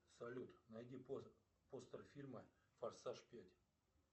салют найди постер фильма форсаж пять